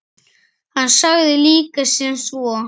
Hann sagði líka sem svo